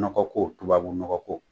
Nɔkɔ ko tubabu nɔgɔko